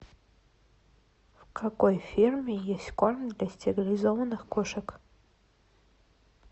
в какой фирме есть корм для стерилизованных кошек